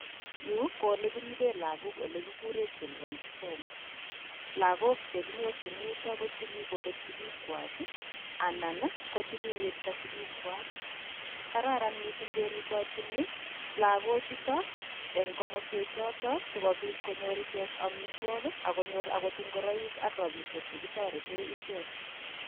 Yu ko olekiribe lagok ole kikure childrens home, lagok che kinyorchin yutok ii ko che kikobek sigikwach anan ko che kiwirta sigikwach, kararan mising kerutochini lagochuto eng komoswek choto sokobit konyor ichek amitwok ak konyor akot ingoroik ak rabiisiek che kitorete ichek.